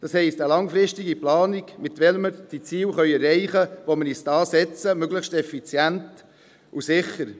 Das heisst, eine langfristige Planung, mit welcher wir die Ziele erreichen können, die wir uns setzen, und dies möglichst effizient und sicher.